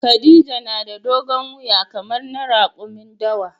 Khadija na da dogon wuya kamar na rakumin dawa.